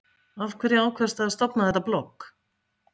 Hrund Þórsdóttir: Af hverju ákvaðstu að stofna þetta blogg?